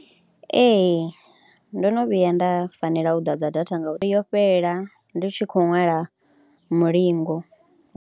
Ee ndo no vhuya nda fanela u ḓadza data ngauri yo fhelela ndi tshi khou ṅwala mulingo.